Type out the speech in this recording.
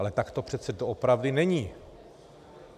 Ale tak to přece doopravdy není.